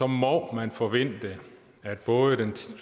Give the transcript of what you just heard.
må man forvente at både den